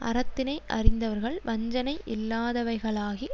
அறத்தினை அறிந்தவர்கள் வஞ்சனையில்லாதவைகளாகி